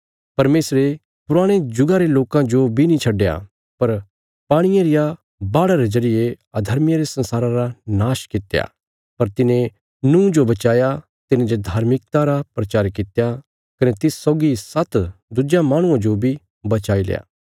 परमेशरे पुराणे जुगा रे लोकां जो बी नीं छड्डया पर पाणिये रिया बाढ़ा रे जरिये अधर्मियां रे संसारा रा नाश कित्या पर तिने नूँह जो बचाया तिने जे धार्मिकता रा प्रचार कित्या कने तिस सौगी सात्त दुज्यां माहणुआं जो बी बचाईल्या